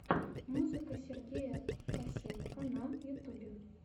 музыка сергея косенко на ютубе